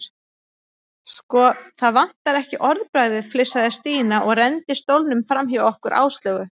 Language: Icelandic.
Sko, það vantar ekki orðbragðið flissaði Stína og renndi stólnum framhjá okkur Áslaugu.